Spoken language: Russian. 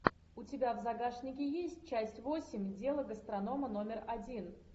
у тебя в загашнике есть часть восемь дело гастронома номер один